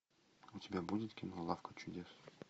у тебя будет кино лавка чудес